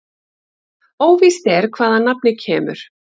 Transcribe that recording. Óvíst er hvaðan nafnið kemur.